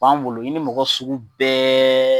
Bari anw bolo i ni mɔgɔ sugu bɛɛ